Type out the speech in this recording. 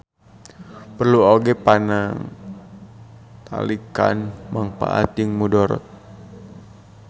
Perlu oge panangtalikan mangpaat jeung mudarat.